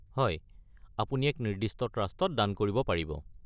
হয়, আপুনি এক নিৰ্দিষ্ট ট্ৰাষ্টত দান কৰিব পাৰিব।